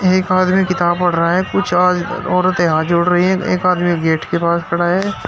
एक आदमी किताब पढ़ रहा है कुछ आ औरतें हाथ जोड़ रही है एक आदमी गेट के पास खड़ा है।